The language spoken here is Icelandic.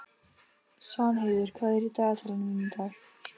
Svanheiður, hvað er í dagatalinu mínu í dag?